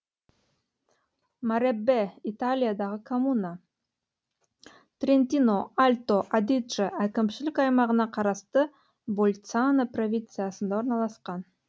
мареббе италиядағы коммуна трентино альто адидже әкімшілік аймағына қарасты больцано провинциясында орналасқан